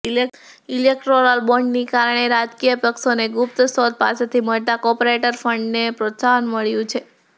electoral બોન્ડની કારણે રાજકીય પક્ષોને ગુપ્ત સ્ત્રોત પાસેથી મળતા કોર્પોરેટ ફંડને પ્રોત્સાહન મળ્યું છે